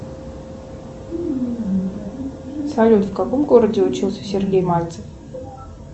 салют в каком городе учился сергей мальцев